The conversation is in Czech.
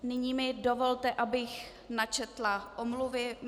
Nyní mi dovolte, abych načetla omluvy.